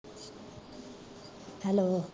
hello